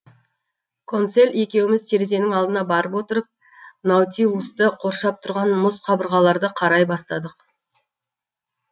консель екеуіміз терезенің алдына барып отырып наутилусты қоршап тұрған мұз қабырғаларды қарай бастадық